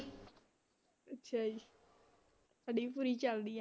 ਅੱਛਾ ਜੀ ਸਾਡੀ ਵੀ ਪੂਰੀ ਚੱਲਦੀ ਹੈ।